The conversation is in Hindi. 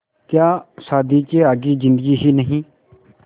क्या शादी के आगे ज़िन्दगी ही नहीं